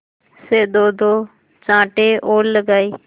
से दोदो चांटे और लगाए